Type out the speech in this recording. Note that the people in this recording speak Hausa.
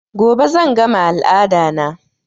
Gobe zan gama al'ada na